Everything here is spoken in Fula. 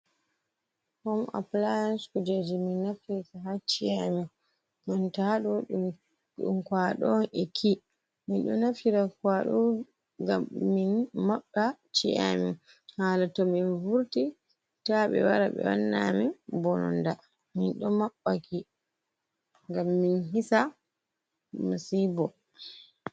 Hom aplayansis. Kujeji min nafitirta ha ci'e amin. Banta haɗo, ɗum kwaaɗo on e kii. Min ɗo naftira kwaaɗo ngam min maɓɓa ci'e amin, hala to min vurti ta ɓe wara ɓe wanna amin mbononda. Min ɗo maɓɓa ki ngam min hisa masibo.